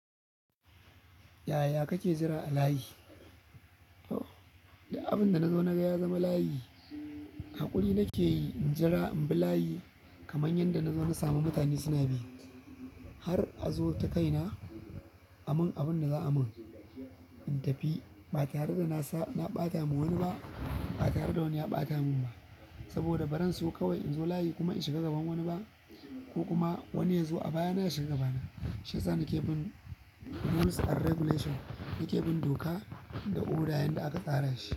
Yaya kake jira a layi? Duk abin da na zo na ga ya zama layi, haƙuri nake yi in jira in bi layi kamar yadda na zo na sami mutane suna bi. Har a zo ta kaina a mun abin da za a mun in tafi. Ba tare da na ɓata wa wani ba, ba tare da wani ya ɓata mun ba. Saboda baran so kawai in zo layi kuma in shiga gaban wani ba ko kuma wani ya zo a baya na ya shiga baya na. Shi yasa nake bin rules and regulation, nake bin doka da odar yadda aka tsara shi.